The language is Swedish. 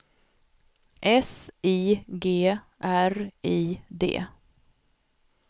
S I G R I D